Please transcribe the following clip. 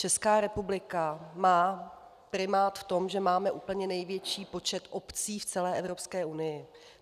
Česká republika má primát v tom, že máme úplně největší počet obcí v celé Evropské unii.